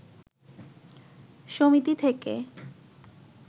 সমিতি থেকে